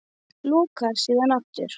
Lokar síðan aftur.